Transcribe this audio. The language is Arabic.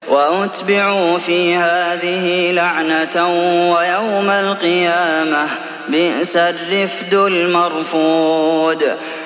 وَأُتْبِعُوا فِي هَٰذِهِ لَعْنَةً وَيَوْمَ الْقِيَامَةِ ۚ بِئْسَ الرِّفْدُ الْمَرْفُودُ